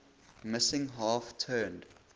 missing half turned